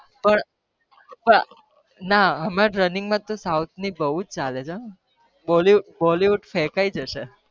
પણ નાં હમણાં તો સોઉથ ની બૌ જ ચાલે છે bollywood ફેકઈ જસે